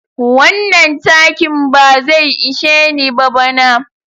Wannan takin ba zai ishe ni ba bana.